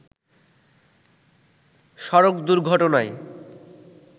সড়ক দুর্ঘটনায়